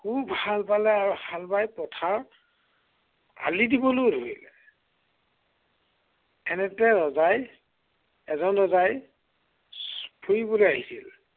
খুব ভাল পালে আৰু হাল বাই পথাৰত। আলি দিবলৈও ধৰিলে। এনেতে ৰজাই, এজন ৰজাই, ফুৰিবলৈ আহিছিল।